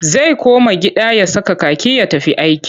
Zai koma gida ya saka kaki ya tafi aiki.